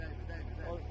Dəymə, dəymə, dəymə.